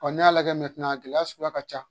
Ɔɔ ni y'a lajɛ a gɛlɛya suguya ka ca.